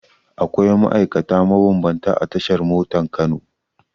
Akwai ma'aikata mabambanta a tashar motan Kano.